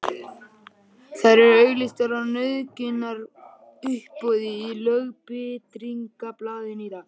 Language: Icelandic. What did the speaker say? Þær eru auglýstar á nauðungaruppboði í Lögbirtingablaðinu í dag!